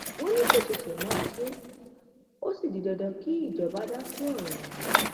wọn ní kó ṣẹṣẹ máa ṣe é ó sì di dandan kí ìjọba dá sọrọ ọhún